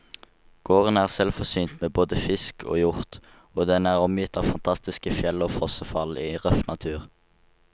Gården er selvforsynt med både fisk og hjort, og den er omgitt av fantastiske fjell og fossefall i røff natur.